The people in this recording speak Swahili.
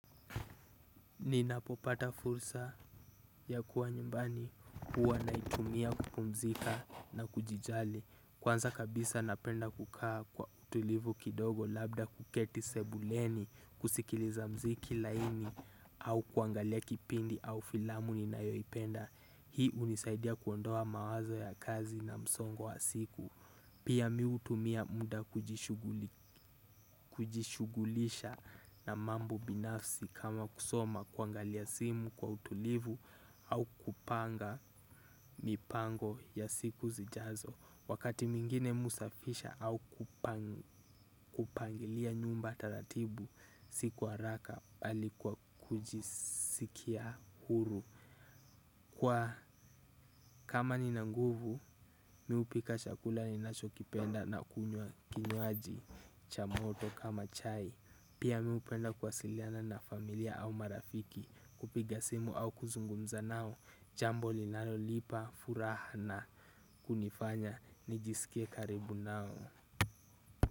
Ninapopata fursa ya kuwa nyumbani huwa naitumia kupumzika na kujijali. Kwanza kabisa napenda kukaa kwa utulivu kidogo labda kuketi sebuleni kusikiliza mziki laini au kuangalia kipindi au filamu ninayoipenda. Hii hunisaidia kuondoa mawazo ya kazi na msongo wa siku. Pia mi hutumia muda kujishughulisha na mambo binafsi kama kusoma kuangalia simu kwa utulivu au kupanga mipango ya siku zijazo. Wakati mwingine mi husafisha au kupangilia nyumba taratibu si kwa haraka bali kwa kujisikia huru. Kwa kama nina nguvu mi hupika chakula ninachokipenda na kunywa kinywaji cha moto kama chai. Pia mi hupenda kuwasiliana na familia au marafiki kupiga simu au kuzungumza nao. Jambo linalonipa furaha na kunifanya nijisikie karibu nao.